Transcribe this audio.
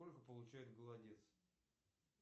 сколько получает голодец